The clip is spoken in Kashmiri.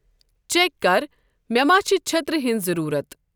چیک کر مے ما چِھ چٔھترِ ہٕنز ضرورت ۔